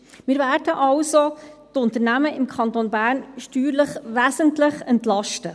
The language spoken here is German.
Wir werden also die Unternehmen im Kanton Bern steuerlich wesentlich entlasten.